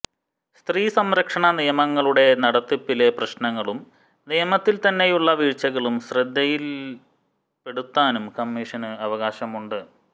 സ്ത്രീ സംരക്ഷണ നിയമങ്ങളുടെ നടത്തിപ്പിലെ പ്രശ്നങ്ങളും നിയമത്തിൽത്തന്നെയുള്ള വീഴ്ചകളും ശ്രദ്ധയില്പെടുത്താനും കമ്മിഷന്ന് അവകാശമുണ്ട്